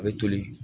A bɛ toli